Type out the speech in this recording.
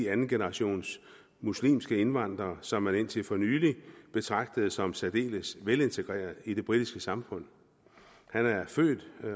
andengenerations muslimske indvandrere som man indtil for nylig betragtede som særdeles velintegreret i det britiske samfund han er født